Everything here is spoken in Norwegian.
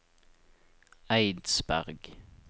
Eidsberg